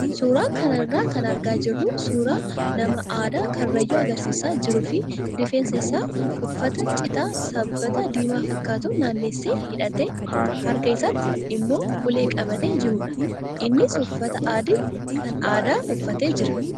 Suuraa kana irraa kan argaa jirru suuraa nama aadaa karrayyuu agarsiisaa jiruu fi rifeensa isaa uffata citaa sabbata diimaa fakkaatuun naannessee hidhatee harka isaatti immoo ulee qabatee jirudha. Innis uffata adii kan aadaa uffatee jira.